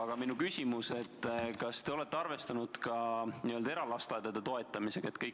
Aga minu küsimus on: kas te olete ka arvestanud eralasteaedade toetamisega?